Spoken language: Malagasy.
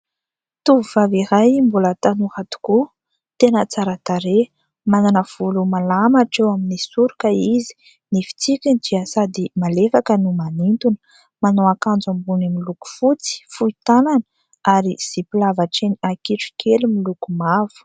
Tovovavy iray : mbola tanora tokoa, tena tsara tarehy, manana volo malama hatreo amin'ny soroka izy; ny fitsikiny tia sady malefaka no manintona. Manao ankanjo ambony miloko fotsy, fohy tànana ary zipo lava hatreny ankitrokely miloko mavo.